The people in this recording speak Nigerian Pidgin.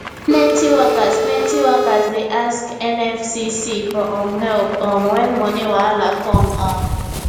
plenty workers plenty workers dey ask nfcc for um help um when money wahala come um